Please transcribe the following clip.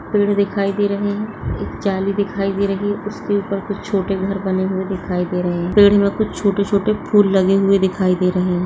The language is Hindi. पेड़ दिखाई दे रहे हैं एक जाली दिखाई दे रही है उसके ऊपर कुछ छोटे घर बने हुए दिखाई दे रहे हैं। पेड़ में कुछ छोटे - छोटे फूल लगे हुए दिखाई दे रहे हैं।